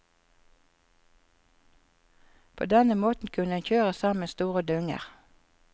På denne måten kunne en kjøre sammen store dunger.